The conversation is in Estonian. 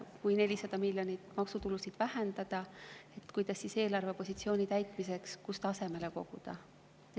Kui 400 miljonit maksutulusid vähendada, siis kust ikkagi eelarvepositsiooni huvides asemele koguda?